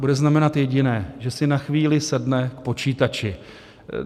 Bude znamenat jediné: že si na chvíli sedne k počítači.